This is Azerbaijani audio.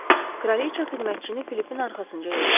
Kraliçə xidmətçini Filipin arxasınca yolladı.